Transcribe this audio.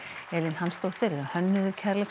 Elín Hansdóttir er hönnuður